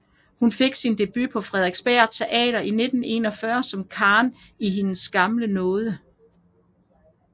Hun fik sin debut på Frederiksberg Teater i 1941 som Karen i Hendes gamle nåde